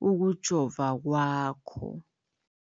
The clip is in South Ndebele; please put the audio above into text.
kokujova kwakho.